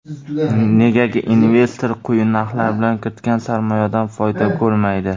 Negaki investor quyi narxlar bilan kiritgan sarmoyadan foyda ko‘rmaydi.